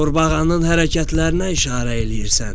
Qurbağanın hərəkətlərinə işarə eləyirsən.